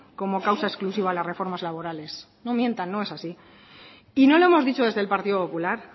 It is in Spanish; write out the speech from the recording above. como causa exclusiva las reformas laborales no mientan no es así y no lo hemos dicho desde el partido popular